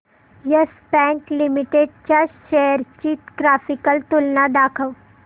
yes Bank limited च्या shares ची graphical तुलना दाखव